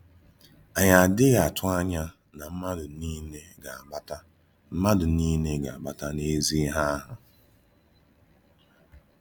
Ànyí adì́ghị àtụ̀ ànyá na mmádụ niile gà-abàtà mmádụ niile gà-abàtà n’ezi-íhè àhụ̀.